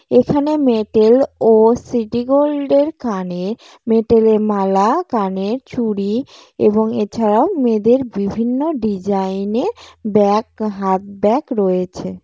এখানে মেটেল ও সিটিগোল্ড এর কানে মেটেল এর মালা কানের চুড়ি এবং এছাড়াও মেয়েদের বিভিন্ন ডিজাইন এর ব্যাগ হাত ব্যাগ রয়েছে।